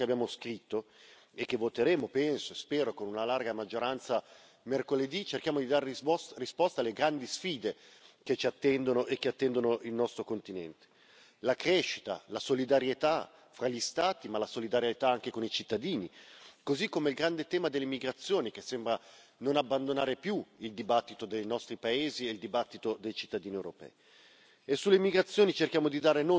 Così come cerchiamo attraverso il bilancio che abbiamo scritto e che voteremo, penso e spero con una larga maggioranza, mercoledì di dare risposte alle grandi sfide che ci attendono e che attendono il nostro continente la crescita, la solidarietà fra gli Stati ma anche la solidarietà con i cittadini, così come il grande tema delle migrazioni, che sembra non abbandonare più il dibattito dei nostri paesi e il dibattito dei cittadini europei.